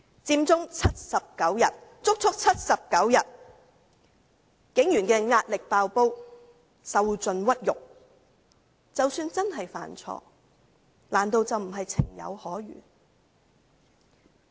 佔中長達79天，警員的壓力"爆煲"，受盡屈辱，即使真的犯錯，難道不是情有可原？